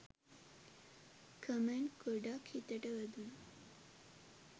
Comment ගොඩක් හිතට වැදුනා.